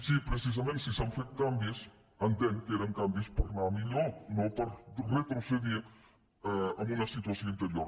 si precisament s’han fet canvis entenc que eren canvis per anar a millor no per retrocedir a una situació anterior